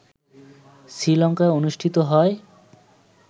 শ্রীলঙ্কায় অনুষ্ঠিত হয়